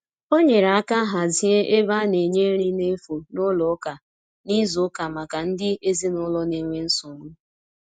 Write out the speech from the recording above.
o nyere aka hazie ebe ana nye nri na efụ n'ụlọ ụka na izu uka maka ndi ezinulo n'enwe nsogbu